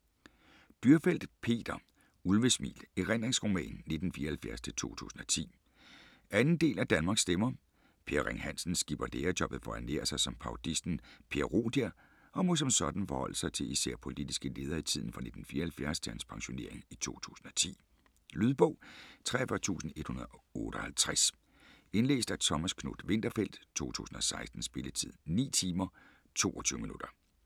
Dürrfeld, Peter: Ulvesmil: erindringsroman 1974-2010 2. del af Danmarks stemmer. Per Ring Hansen skipper lærerjobbet for at ernære sig som parodisten Per Rodia og må som sådan forholde sig til især politiske ledere i tiden fra 1974 til hans pensionering i 2010. Lydbog 43158 Indlæst af Thomas Knuth-Winterfeldt, 2016. Spilletid: 9 timer, 22 minutter.